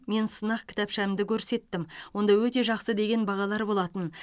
мен сынақ кітапшамды көрсеттім онда өте жақсы деген бағалар болатын